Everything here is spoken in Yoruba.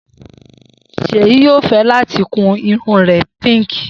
Seyi yoo fẹ lati kun irun rẹ Pink